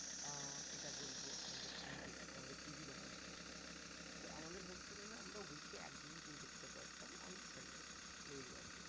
আহ এটা বলবো আমাদের antenna আমাদের TV দেখার story তো আমাদের hostel এ না আমরা week এ এক দিনই TV দেখতে পারতাম only sunday তে রবিবার দিন